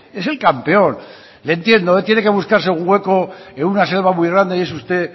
es el campeón le entiendo tiene que buscarse un hueco en una selva muy grande y es usted